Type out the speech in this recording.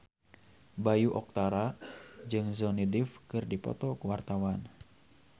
Bayu Octara jeung Johnny Depp keur dipoto ku wartawan